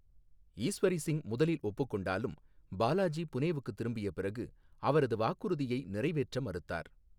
ஈஸ்வரி சிங் முதலில் ஒப்புக் கொண்டாலும், பாலாஜி புனேவுக்கு திரும்பிய பிறகு அவரது வாக்குறுதியை நிறைவேற்ற மறுத்தார்.